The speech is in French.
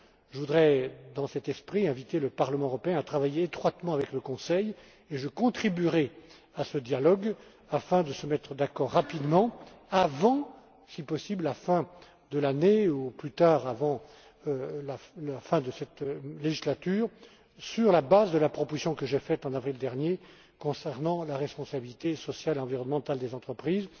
Je voudrais, dans cet esprit, inviter le Parlement à travailler étroitement avec le Conseil et je contribuerai à ce dialogue afin de nous mettre d'accord rapidement avant, si possible, la fin de l'année ou, au plus tard, avant la fin de cette législature, sur la base de la proposition que j'ai faite en avril dernier concernant la responsabilité sociale et environnementale des entreprises.